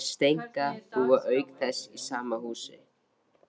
Þær Steinka búa auk þess í sama húsi.